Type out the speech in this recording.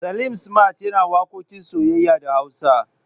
Salim smart yana waƙoƙin soyayya da Hausa.